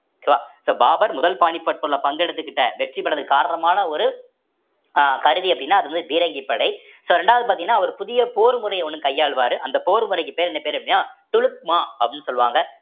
so so Babur முதல் பானிபட்ல பங்கு எடுத்துக்கிட்ட வெற்றி பெறுவதற்கு காரணமான ஒரு அஹ் கருவி அப்படின்னா அது வந்து பீரங்கி படை so இரண்டாவது பார்த்தீங்கன்னா அவர் புதிய போர் முறைய ஒண்ணு கையாளுவாரு அந்த போர் முறைக்கு பெயர் என்ன பேரு அப்படின்னா துலுக்மா அப்படின்னு சொல்லுவாங்க